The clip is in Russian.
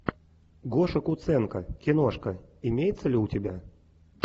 гоша куценко киношка имеется ли у тебя